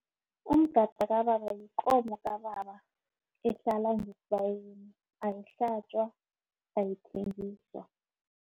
Umgada kababa yikomo kababa ehlala ngesibayeni ayihlatjwa, ayithengiswa.